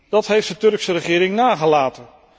Dat heeft de Turkse regering nagelaten.